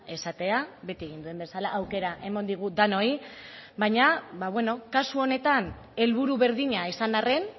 esatea beti egin duen bezala aukera eman digu denoi baina kasu honetan helburu berdina izan arren